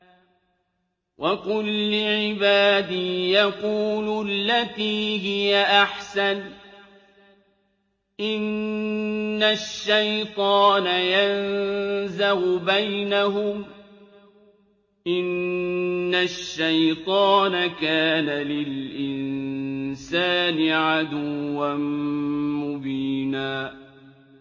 وَقُل لِّعِبَادِي يَقُولُوا الَّتِي هِيَ أَحْسَنُ ۚ إِنَّ الشَّيْطَانَ يَنزَغُ بَيْنَهُمْ ۚ إِنَّ الشَّيْطَانَ كَانَ لِلْإِنسَانِ عَدُوًّا مُّبِينًا